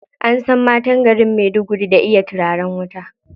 An san matan garin Maiduguri da iya turaren wuta.